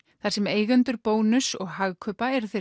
þar sem eigendur Bónuss og Hagkaupa eru þeir